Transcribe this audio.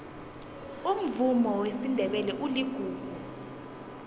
umvumo wesindebele uligugu